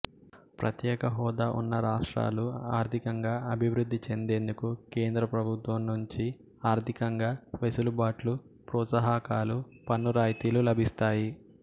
ప్రత్యేక హోదా ఉన్న రాష్ట్రాలు ఆర్థికంగా అభివృద్ధి చెందేందుకు కేంద్ర ప్రభుత్వం నుంచి ఆర్థికంగా వెసులుబాట్లు ప్రోత్సాహకాలు పన్నురాయితీలు లభిస్తాయి